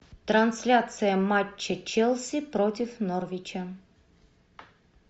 трансляция матча челси против норвича